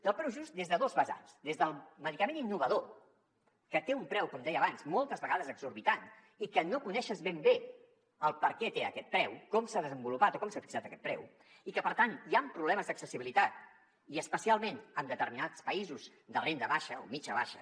del preu just des de dos vessants des del medicament innovador que té un preu com deia abans moltes vegades exorbitant i que no coneixes ben bé per què té aquest preu com s’ha desenvolupat o com s’ha fixat aquest preu i que per tant hi han problemes d’accessibilitat i especialment en determinats països de renda baixa o mitjana baixa